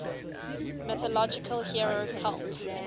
mythological hero cult